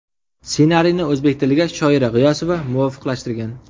Ssenariyni o‘zbek tiliga Shoira G‘iyosova muvofiqlashtirgan.